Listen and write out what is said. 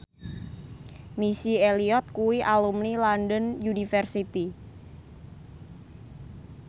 Missy Elliott kuwi alumni London University